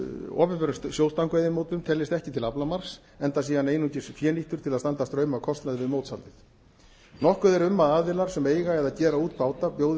opinberum sjóstangveiðimótum teljist ekki til aflamarks enda sé hann einungis fénýttur til þess að standa straum af kostnaði við mótshaldið nokkur er um að aðilar sem eiga eða gera út báta bjóði